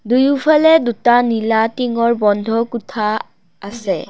দুয়োফালে দুটা নীলা টিংঙৰ বন্ধ কোঠা আছে।